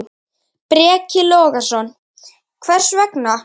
Breki Logason: Hvers vegna?